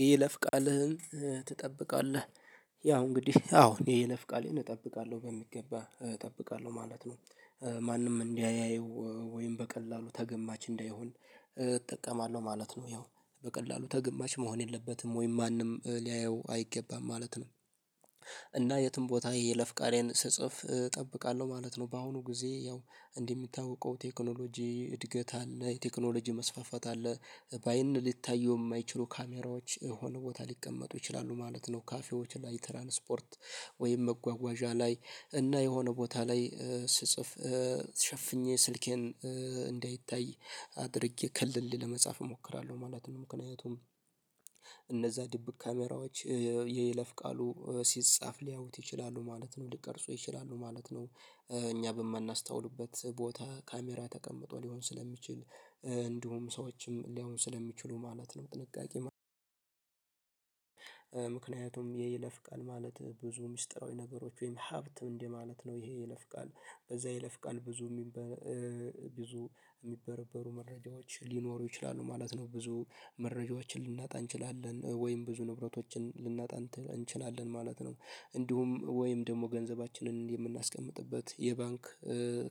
የይለፍ ቃልህን ትጠብቃለህ ያው እንግዲህ አዎ ይሄ ቃሌን እጠብቃለሁ በሚገባ እጠብቃለሁ ማለት ነው። ማንም እንዳያየው ወይም በቀላሉ ተገማች እንዳይሆን እጠቀማለሁ ማለት ነው። ያው በቀላሉ ተገማች መሆን የለበትም ወይም ማንም ሊያየው አይገባም ማለት ነው። እና የትም ቦታ የይለፍ ቃሌን ስጽፍ እጠብቃለሁ ማለት ነው። በአሁኑ ጊዜ ያው እንደሚታወቀው ቴክኖሎጂ እድገት አለ ቴክኖሎጂ መስፋፋት አለ ባይን ልታዩ የማይችሉ ካሜራዎች የሆነ ቦታ ሊቀመጡ ይችላሉ ማለት ነው። ካፌዎች እና የትራንስፖርት ወይም መጓጓዣ ላይ እና የሆነ ቦታ ላይ ስጽፍ ሸፍኜ ስልኬን እንዳይታይ አድርጌ ከልሌ ለመጻፍ እሞክራለሁ ማለት ነው። ምክንያቱም እነዛ ድብቅ ካሜራዎች የይለፍ ቃሉ ሲጻፍ ሊያውት ይችላሉ ማለት ነው ሊቀርጹ ይችላሉ ማለት ነው። እኛ በማናስታውልበት ቦታ ካሜራ ተቀምጦ ሊሆን ስለሚችል እንዲሁም ሰዎችም ሊያዩ ስለሚችሉ ማለት ነው ጥንቃቄ። ምክንያቱም የይለፍ ቃል ማለት ብዙ ምስጢራዊ ነገሮች ወይም ሀብት እንደማለት ነው። ይሄ የይለፍ ቃል በዛ የይለፍ ቃል ብዙ የሚበረበሩ መረጃዎች ሊኖሩ ይችላሉ ማለት ነው። ብዙ መረጃዎችን ልናጣ እንችላለን ወይም ብዙ ንብረቶችን ልናጣ እንችላለን ማለት ነው። እንዲሁም ወይም ደግሞ ገንዘባችንን የምናስቀምጥበት የባንክ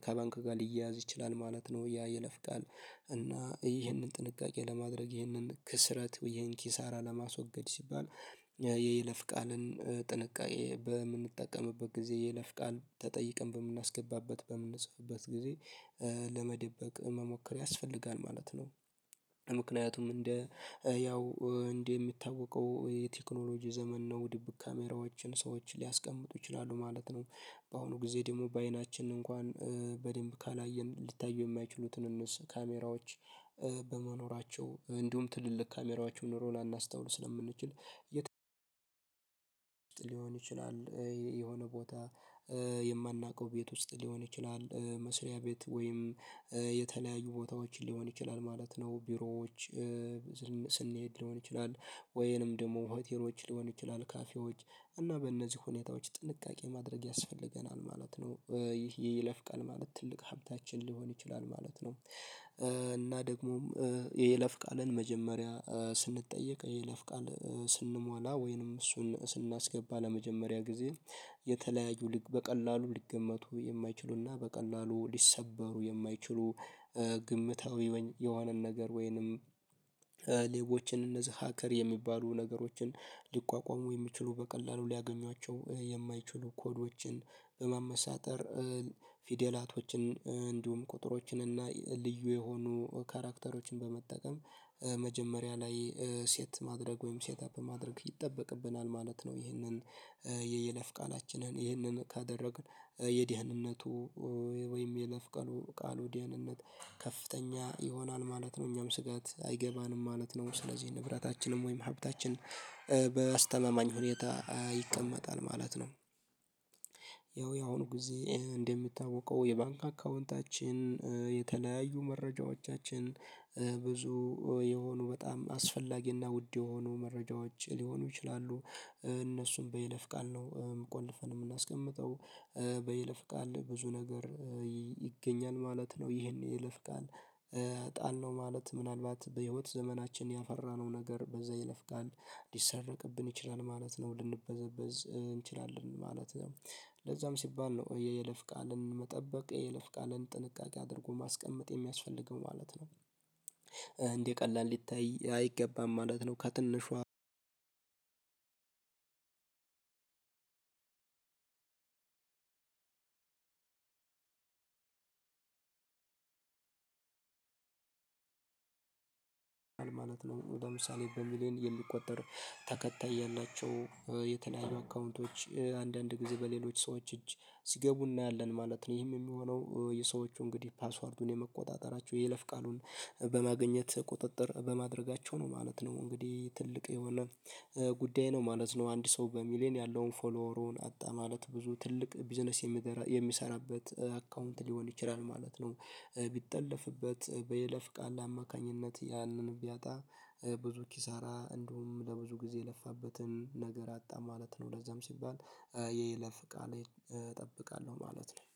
ከባንክ ጋር ሊያያዝ ይችላል ማለት ነው። ያ ይለፍቃል እና ይህንን ጥንቃቄ ለማድረግ ይህንን ክስረት ይሄን ኪሳራ ለማስወገድ ሲባል የይለፍ ቃልን ጥንቃቄ በምንጠቀምበት ጊዜ የይለፍ ቃል ተጠይቀን በምናስገባበት በምንጽፍበት ጊዜ። ለመደበቅ መሞከር ያስፈልጋል ማለት ነው ምክንያቱም እንደ ያው እንደ የሚታወቀው የቴክኖሎጂ ዘመን ነው ድብቅ ካሜራዎችን ሰዎችን ሊያስቀምጡ ይችላሉ ማለት ነው። በአሁኑ ጊዜ ደግሞ በአይናችን እንኳን በደንብ ካላየን ሊታዩ የማይችሉትን እነሱ ካሜራዎች በመኖራቸው እንዲሁም ትልልቅ ካሜራዎችን ኖሮ ላናስተውል ስለምንችል። የተለያየ ሊሆን ይችላል የሆነ ቦታ የማናውቀው ቤት ውስጥ ሊሆን ይችላል መስሪያ ቤት ወይም የተለያዩ ቦታዎችን ሊሆን ይችላል ማለት ነው። ቢሮዎች ስንሄድ ሊሆን ይችላል ወይንም ደግሞ ሆቴሎች ሊሆን ይችላል ካፌዎች እና በእነዚህ ሁኔታዎች ጥንቃቄ ማድረግ ያስፈልገናል ማለት ነው። ይህ የይለፍቃል ማለት ትልቅ ሀብታችን ሊሆን ይችላል ማለት ነው። እና ደግሞም የይለፍ ቃልን መጀመሪያ ስንጠየቅ የይለፍ ቃል ስንሟላ ወይንም እሱን ስናስገባ ለመጀመሪያ ጊዜ። የተለያዩ ልክ በቀላሉ ሊገመቱ የማይችሉና በቀላሉ ሊሰበሩ የማይችሉ። ግምታዊ የሆነን ነገር ወይንም ሌቦችን እነዚህ ሀከር የሚባሉ ነገሮችን ሊቋቋሙ የሚችሉ በቀላሉ ሊያገኟቸው የማይችሉ ኮዶችን በመመሳጠር ፊደላቶችን እንዲሁም ቁጥሮችን እና ልዩ የሆኑ ካራክተሮችን በመጠቀም። መጀመሪያ ላይ ሴት ማድረግ ወይም ሴት አፕ ማድረግ ይጠበቅብናል ማለት ነው። ይህንን የይለፍ ቃላችንን ይህንን ካደረግን የድህንነቱ ወይም የይለፍ ቃል ድህንነት ከፍተኛ ይሆናል ማለት ነው። እኛም ስጋት አይገባንም ማለት ነው። ስለዚህ ንብረታችንም ወይም ሀብታችን በአስተማማኝ ሁኔታ ይቀመጣል ማለት ነው። ያው ያሁኑ ጊዜ እንደምታወቀው የባንክ አካውንታችን የተለያዩ መረጃዎቻችን ብዙ የሆኑ በጣም አስፈላጊና ውድ የሆኑ መረጃዎች ሊሆኑ ይችላሉ። እነሱም በይለፍ ቃል ነው ቆልፈን የምናስቀምጠው። በይለፍ ቃል ብዙ ነገር ይገኛል ማለት ነው። ይሄን የይለፍ ቃል ጣልነው ማለት ምናልባት በህይወት ዘመናችን ያፈራነው ነገር በዛ ይለፍ ቃል ሊሰረቅብን ይችላል ማለት ነው ልንበዘበዝ እንችላለን ማለት ነው። ለዛም ሲባል ነው የይለፍ ቃልን መጠበቅ የይለፍ ቃልን ጥንቃቄ አድርጎ ማስቀመጥ የሚያስፈልገው ማለት ነው። እንደ ቀላል ሊታይ አይገባም ማለት ነው። ከትንሿ። ነው ነው ለምሳሌ በሚሊየን የሊቆጠር ተከታይ ያላቸው የተለያዩ አካውንቶች አንዳንድ ጊዜ በሌሎች ሰዎች እጅ ሲገቡ እናያለን ማለት ነው። ይህም የሚሆነው የሰዎቹ እንግዲህ ፓስወርዱን የመቆጣጠራቸው የይለፍ ቃሉን በማግኘት ቁጥጥር በማድረጋቸው ነው ማለት ነው። እንግዲህ ትልቅ የሆነ ጉዳይ ነው ማለት ነው። አንድ ሰው በሚሊየን ያለውን ፎሎሩን አጣ ማለት ብዙ ትልቅ ቢዝነስ የሚሰራ የሚሰራበት አካውንት ሊሆን ይችላል ማለት ነው። ቢጠለፍበት በይለፍ ቃል አማካኝነት ያንን ቢያጣ ብዙ ኪሳራ እንደውም ለብዙ ጊዜ የለፋበትን ነገር አጣ ማለት ነው። ለዛም ሲባል የይለፍ ቃሌን እጠብቃለሁ ማለት ነው